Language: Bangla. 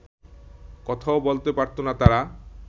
কথাও বলতে পারত না তারা